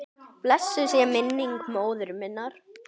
Blessuð sé minning móður minnar.